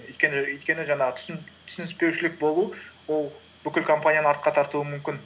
өйткені жаңағы түсініспеушілік болу ол бүкіл компанияны артқа тартуы мүмкін